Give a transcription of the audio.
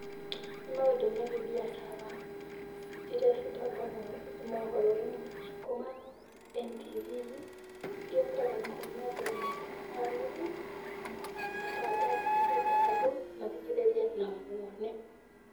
Nĩ maũndũ megiĩ mbiacara iria citangathagwo mohoro -inĩ kuma ntv.Yũkaga kumia thaa ĩmwe na nuthu, matangatho, nĩ getha andũ mathikĩrĩrie na mone.